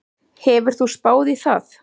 Hefur þú spáð í það?